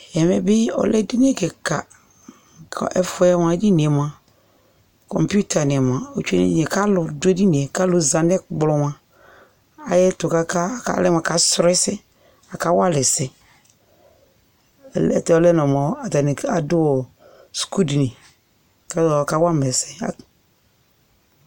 Ɛmɛ bi ɔlɛ edini kika kʋ ɛfuɛ moa, edini e moa kɔmpʋta ni moa otsue n'ɛdini e kʋ alʋ dʋ edini e kʋ alʋ zanʋ ɛkplɔ moa ayɛtʋ kaka, kɔlɛ mʋ akasʋlɔ ɛsɛ, akawa alʋ ɛsɛ Ayɛlʋtɛ ɔlɛ nɔ moa atani adʋ suku dini kʋ akawa ma ɛsɛ